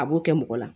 A b'o kɛ mɔgɔ la